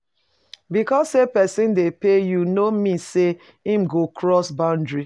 Because say persin de pay you no mean say im go cross boundary